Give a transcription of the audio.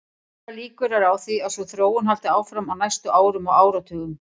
Allar líkur eru á því að sú þróun haldi áfram á næstu árum og áratugum.